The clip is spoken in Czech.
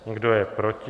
Kdo je proti?